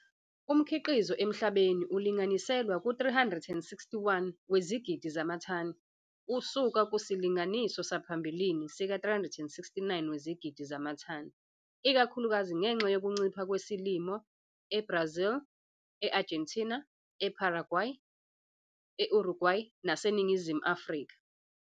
Umkhiqizo emhlabeni ulinganiselwa ku-361 wezigidi zamathani usuka kusilinganiso saphambilini sika-369 wezigidi zamathani, ikakhulukazi ngenxa yokuncipha kwesilimo e-Brazil, e-Argentina, e-Paraguay, e-Uruguay naseNingizimu Afrika.